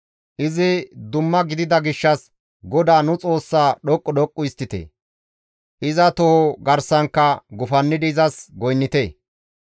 Izi dumma gidida gishshas GODAA nu Xoossaa dhoqqu dhoqqu histtite; iza toho garsankka gufannidi izas goynnite.